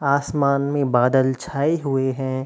आसमान में बादल छाए हुए हैं।